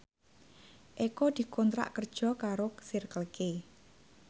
Eko dikontrak kerja karo Circle K